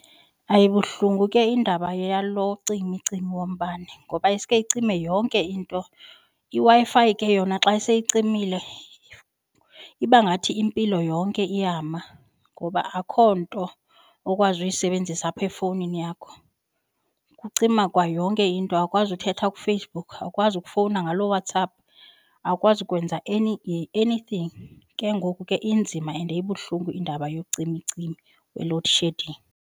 Ayibuhlungu ke iindaba yalo cimicimi wombane ngoba iske icime yonke into, iWi-Fi ke yona xa seyicimile iba ngathi impilo yonke iyama ngoba akho nto okwazi uyisebenzisa apha efowunini yakho. Kucima kwa yonke into, awukwazi uthetha kuFacebook, awukwazi ukufowuna ngaloo WhatsApp, awukwazi ukwenza any anything ke ngoku ke inzima and ibuhlungu indaba yocimicimi we-loadshedding.